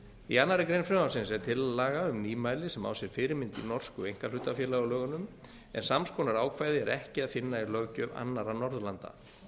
í annarri grein frumvarpsins er tillaga um mæli sem á sér fyrirmynd í norsku einkahlutafélagalögunum en sams konar ákvæði er ekki að finna í löggjöf annarra norðurlanda